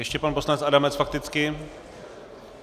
Ještě pan poslanec Adamec fakticky.